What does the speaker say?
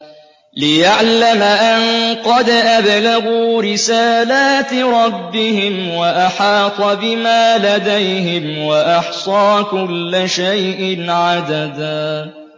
لِّيَعْلَمَ أَن قَدْ أَبْلَغُوا رِسَالَاتِ رَبِّهِمْ وَأَحَاطَ بِمَا لَدَيْهِمْ وَأَحْصَىٰ كُلَّ شَيْءٍ عَدَدًا